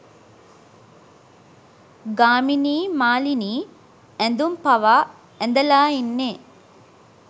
ගාමිණියි මාලිනියි ඇඳුම් පවා ඇඳලා ඉන්නෙ